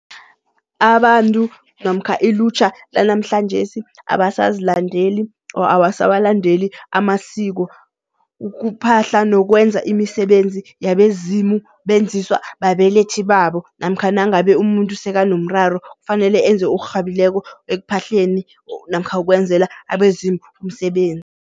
Abantu namkha ilutjha lanamhlanjesi abasazilandeli or awasawalandeli amasiko. Ukuphahla nokwenza imisebenzi yabezimu benziswa babelethi babo namkha nangabe umuntu sekanomraro, kufanele enze okurhabileko ekuphahleleni namkha ukwenzela abezimu umsebenzi.